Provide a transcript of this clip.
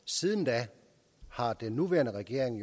siden da har den nuværende regering